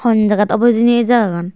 hon jagat obo hejani eh jagagan.